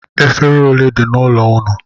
Efere ole dị n'ụlọ ụnụ?